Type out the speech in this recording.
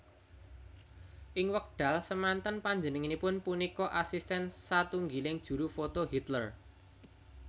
Ing wekdal semanten panjenangipun punika asisten satunggiling juru foto Hitler